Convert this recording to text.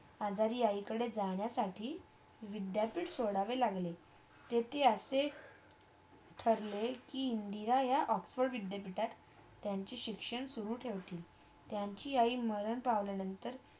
आजारी आईकडे जाण्यासाठी विद्याथी सोडावे लागले ते ती असे ठरले कि इंदिरा यह ऑक्सफर्ड विद्यापीठात त्यांचे शिक्षण सुरू ठेवतील त्यांची आई मरण पावल्या नंतर